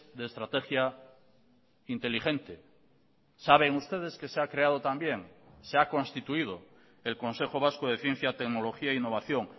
de estrategia inteligente saben ustedes que se ha creado también se ha constituido el consejo vasco de ciencia tecnología e innovación